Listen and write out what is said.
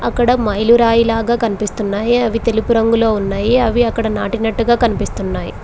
అక్కడ మైలురాయి లాగా కనిపిస్తున్నాయి అవి తెలుపు రంగులో ఉన్నాయి అవి అక్కడ నాటినట్టుగా కనిపిస్తున్నాయి.